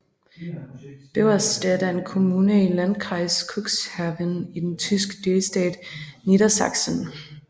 Beverstedt er en kommune i Landkreis Cuxhaven i den tyske delstat Niedersachsen